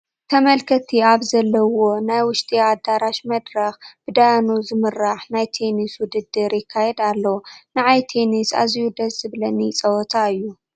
ተመልከትቲ ኣብ ዘለዉዎ ናይ ውሽጢ ኣዳራሽ መድረኽ ብደያኑ ዝምራሕ ናይ ቴንስ ውድድር ይካየድ ኣሎ፡፡ ንዓይ ቴንስ ኣዝዩ ደስ ዝብለኒ ፀወታ እዩ፡፡